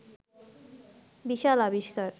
বিশাল আবিষ্কার